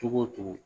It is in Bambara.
Cogo o cogo